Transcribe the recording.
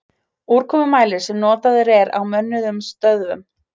Úrkomumælir sem notaður er á mönnuðum stöðvum.